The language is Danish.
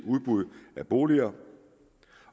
udbud af boliger